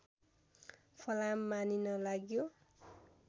फलाम मानिन लाग्यो